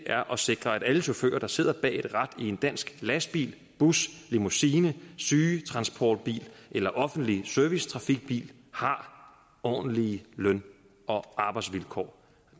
er at sikre at alle chauffører der sidder bag et rat i en dansk lastbil bus limousine sygetransportbil eller offentlig servicetrafikbil har ordentlige løn og arbejdsvilkår